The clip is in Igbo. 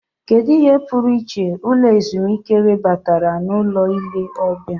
Kedu ihe pụrụ iche ụlọ ezumike webatara na ụlọ ọrụ ile ọbịa?